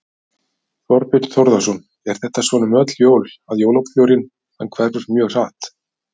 Þorbjörn Þórðarson: Er þetta svona um öll jól að jólabjórinn hann hverfur mjög hratt?